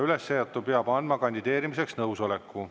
Üles seatu peab andma kandideerimiseks nõusoleku.